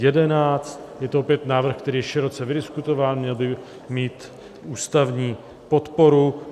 Je to opět návrh, který je široce vydiskutován, měl by mít ústavní podporu.